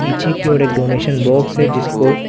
पीछे की ओर एक डोनेशन बॉक्स है जिसको --